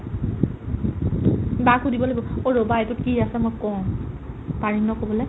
বা ক সুধিব লাগিব অ' ৰ'বা এইটো কি আছে মই কও পাৰিম নে ক'বলে ?